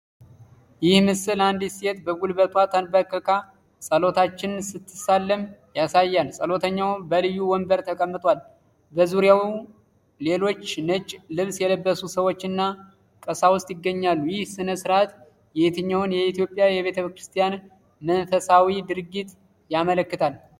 ይህ ምስል አንዲት ሴት በጉልበቷ ተንበርክካ ጸሎተኛን ስትሳለም ያሳያል። ጸሎተኛው በልዩ ወንበር ተቀምጧል፣ በዙሪያውም ሌሎች ነጭ ልብስ የለበሱ ሰዎችና ቀሳውስት ይገኛሉ። ይህ ሥነ ሥርዓት የትኛውን የኢትዮጵያ ቤተክርስቲያን መንፈሳዊ ድርጊት ያመለክታል?